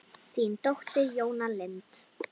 Þín dóttir, Jóna Lind.